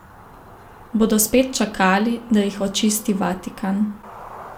Bodo spet čakali, da jih očisti Vatikan?